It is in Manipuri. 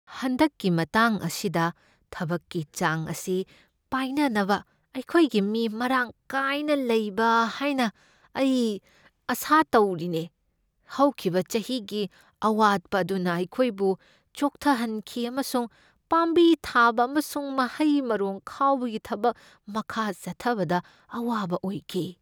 ꯍꯟꯗꯛꯀꯤ ꯃꯇꯥꯡ ꯑꯁꯤꯗ ꯊꯕꯛꯀꯤ ꯆꯥꯡ ꯑꯁꯤ ꯄꯥꯏꯅꯅꯕ ꯑꯩꯈꯣꯏꯒꯤ ꯃꯤ ꯃꯔꯥꯡ ꯀꯥꯏꯅ ꯂꯩꯕ ꯍꯥꯏꯅ ꯑꯩ ꯑꯥꯁꯥ ꯇꯧꯔꯤꯅꯦ꯫ ꯍꯧꯈꯤꯕ ꯆꯍꯤꯒꯤ ꯑꯋꯥꯠꯄ ꯑꯗꯨꯅ ꯑꯩꯈꯣꯏꯕꯨ ꯆꯣꯛꯊꯍꯟꯈꯤ ꯑꯃꯁꯨꯡ ꯄꯥꯝꯕꯤ ꯊꯥꯕ ꯑꯃꯁꯨꯡ ꯃꯍꯩ ꯃꯔꯣꯡ ꯈꯥꯎꯕꯒꯤ ꯊꯕꯛ ꯃꯈꯥ ꯆꯠꯊꯕꯗ ꯑꯋꯥꯕ ꯑꯣꯏꯈꯤ꯫